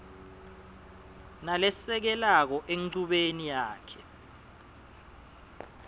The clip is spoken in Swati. nalesekelako enchubeni yakhe